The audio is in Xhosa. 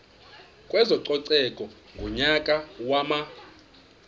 kwezococeko ngonyaka wama